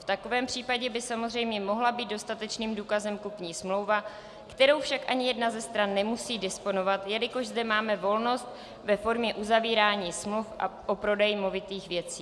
V takovém případě by samozřejmě mohla být dostatečným důkazem kupní smlouva, kterou však ani jedna ze stran nemusí disponovat, jelikož zde máme volnost ve formě uzavírání smluv o prodeji movitých věcí.